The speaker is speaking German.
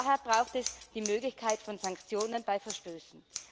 Daher braucht es die Möglichkeit von Sanktionen bei Verstößen.